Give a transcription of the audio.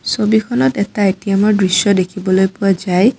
ছবিখনত এটা এটিএমৰ দৃশ্য দেখিবলৈ পোৱা যায়।